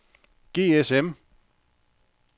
GSM